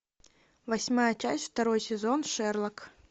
восьмая часть второй сезон шерлок